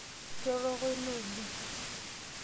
Kiroroko ina olong.